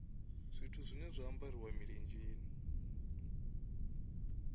zwithu zwine zwa ambariwa milenzheni